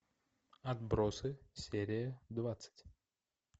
отбросы серия двадцать